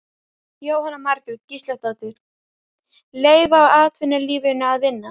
Jóhanna Margrét Gísladóttir: Leyfa atvinnulífinu að vinna?